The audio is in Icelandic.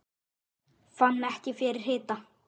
Fann ekki fyrir hita